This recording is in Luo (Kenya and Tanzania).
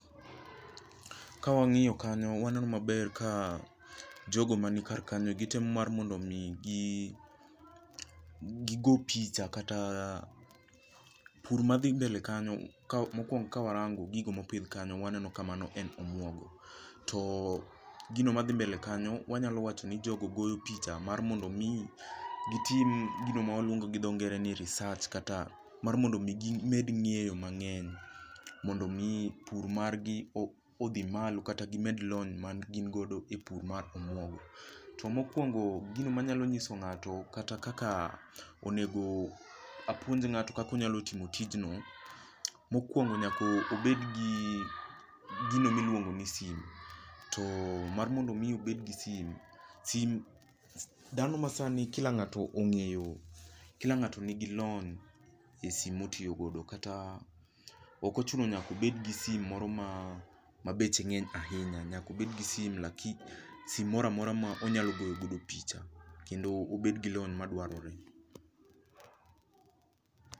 Ka wang'iyo kanyo waneno maber ka jogo mani kar kanyo kitemo mar mondo mi gi go picha kata pur ma dhi mbele kanyo mokwongo kawarango gigo mopidh kanyo waneno kamano en omuogo. To gino madhi mbele kanyo wanyalo wacho ni jogo go picha mar mondo mi gitim gino ma waluongo gi dho ngere ni research kata mar mondo mi gimed ng'eyo mang'eny mondo mi pur mar gi odhi malo kata gimed lony magin godo e pur mar omuogo. To mokuongo gino manyalo nyiso ng'ato kata kaka onego apuonj ng'ato kaka onyalo timo tijno, mokwongo nyaka obed gi gino miluongo ni simo. To mar mondo omi obed gi simo, simo dhano ma sani kila ng'ato ong'eyo kila ng'ato nigi lony e simo motiiyogodo. Kata ok ochuno nyaka obed gi simo moro ma beche ng'eny ahinya. Nyako bed gi simo. Simo moro amora ma onyalo goyo godo picha. Kendo obed gi lony madwarore.